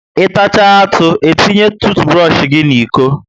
I tachaa atụ, e tinye tuutuburosh gị n'iko ya